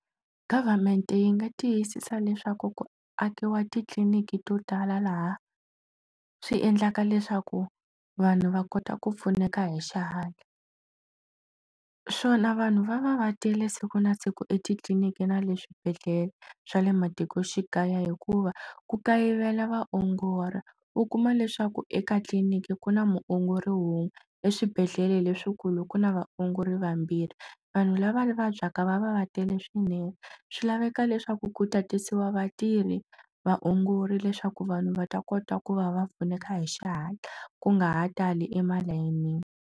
Government yi nga tiyisisa leswaku ku akiwa titliliniki to tala laha swi endlaka leswaku vanhu va kota ku pfuneka hi xihatla swona vanhu va va va tele siku na siku etitliliniki na le swibedhlele swa le matikoxikaya hikuva ku kayivela vaongori u kuma leswaku eka tliliniki ku na muongori wun'we eswibedhlele leswikulu ku na vaongori vambirhi vanhu lava vabyaka va va va tele swinene swi laveka leswaku ku tatisiwa vatirhi vaongori leswaku vanhu va ta kota ku va va pfuneka hi xihatla ku nga ha tali emalayinini.